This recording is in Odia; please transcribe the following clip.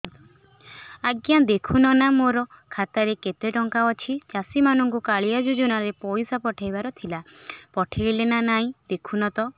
ଆଜ୍ଞା ଦେଖୁନ ନା ମୋର ଖାତାରେ କେତେ ଟଙ୍କା ଅଛି ଚାଷୀ ମାନଙ୍କୁ କାଳିଆ ଯୁଜୁନା ରେ ପଇସା ପଠେଇବାର ଥିଲା ପଠେଇଲା ନା ନାଇଁ ଦେଖୁନ ତ